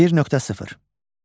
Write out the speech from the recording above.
1.0.